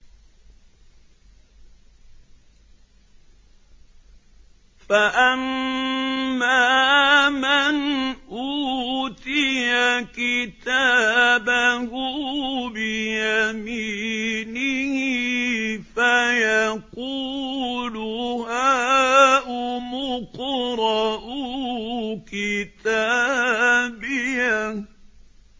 فَأَمَّا مَنْ أُوتِيَ كِتَابَهُ بِيَمِينِهِ فَيَقُولُ هَاؤُمُ اقْرَءُوا كِتَابِيَهْ